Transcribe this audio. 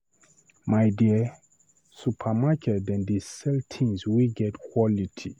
My dear, supermarket dem dey sell tins wey get quality.